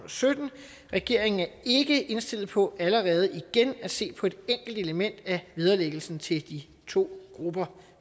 og sytten og regeringen er ikke indstillet på allerede igen at se på et enkelt element af vederlæggelsen til de to grupper